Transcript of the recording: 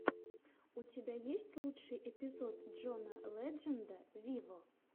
у тебя есть лучший эпизод джона ледженда виво